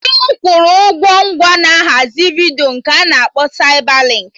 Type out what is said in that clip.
Di m kwụrụ ụgwọ ngwa na ahazi vidiyo nke a na-akpọ Saibalinkị